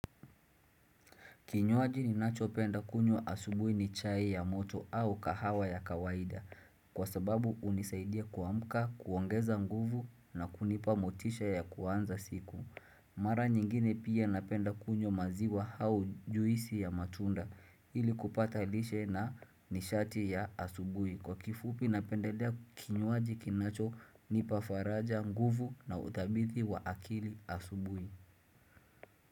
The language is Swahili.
Kinyuaji ni nacho penda kunywa asubuhi ni chai ya moto au kahawa ya kawaida kwa sababu unisaidia kuamka, kuongeza nguvu na kunipa motisha ya kuanza siku. Mara nyingine pia napenda kunywa maziwa au juisi ya matunda ili kupata lishe na nishati ya asubuhi. Kwa kifupi napendelea kinyuaji kinacho nipa faraja nguvu na uthabiti wa akili asubuhi.